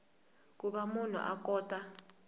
ku va munhu a kota